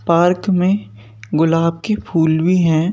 Park में गुलाब के फूल भी हैं।